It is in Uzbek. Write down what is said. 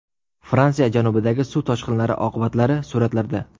Fransiya janubidagi suv toshqinlari oqibatlari suratlarda.